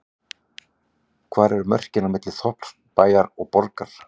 Hvar eru mörkin á milli þorps, bæjar og borgar?